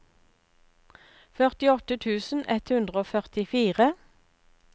førtiåtte tusen ett hundre og førtifire